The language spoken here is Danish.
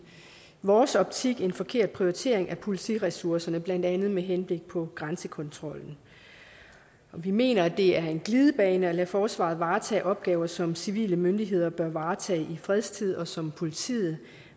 vores optik en forkert prioritering af politiressourcerne blandt andet med henblik på grænsekontrollen vi mener at det er en glidebane at lade forsvaret varetage opgaver som civile myndigheder bør varetage i fredstid og som politiet